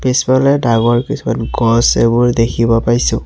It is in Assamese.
পিছফালে ডাঙৰ কিছুমান গছ এইবোৰ দেখিব পাইছোঁ।